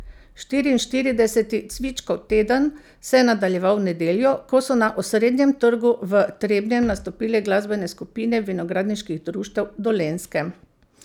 Štiriinštirideseti cvičkov teden se je nadaljeval v nedeljo, ko so na osrednjem trgu v Trebnjem nastopile glasbene skupine vinogradniških društev Dolenjske.